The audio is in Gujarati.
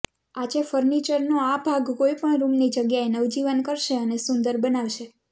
આજે ફર્નિચરનો આ ભાગ કોઈ પણ રૂમની જગ્યાને નવજીવન કરશે અને સુંદર બનાવશે